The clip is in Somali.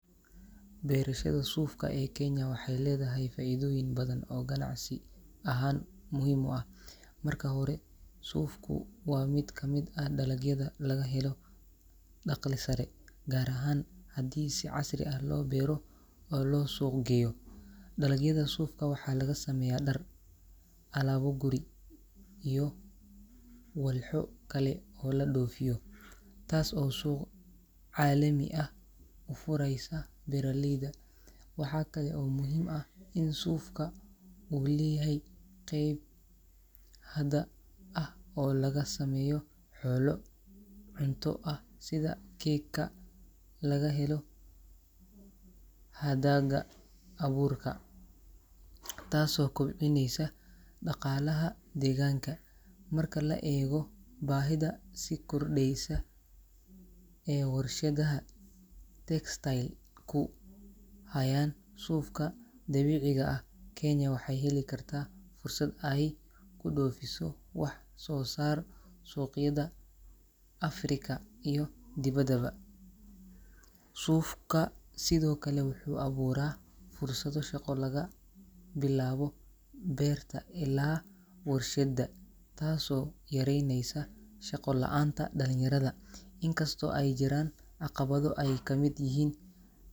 Beerashada suufka ee Kenya waxay leedahay faa’iidooyin badan oo ganacsi ahaan muhiim u ah. Marka hore, suufku waa mid ka mid ah dalagyada laga helo dakhli sare, gaar ahaan haddii si casri ah loo beero oo loo suuq geeyo. Dalagyada suufka waxaa laga sameeyaa dhar, alaabo guri iyo walxo kale oo la dhoofiyo, taas oo suuq caalami ah u furaysa beeraleyda. Waxa kale oo muhiim ah in suufka uu leeyahay qeyb hadha ah oo laga sameeyo xoolo cunto ah sida cake-ka laga helo hadaaga abuurka, taasoo kobcineysa dhaqaalaha deegaanka. Marka la eego baahida si kordheysa ee warshadaha textile ku hayaan suufka dabiiciga ah, Kenya waxay heli kartaa fursad ay ku dhoofiso wax soo saar suuqyada Afrika iyo dibaddaba. Suufka sidoo kale wuxuu abuuraa fursado shaqo laga bilaabo beerta ilaa warshadda, taasoo yareyneysa shaqo la’aanta dhalinyarada. Inkastoo ay jiraan caqabado ay ka mid yihiin.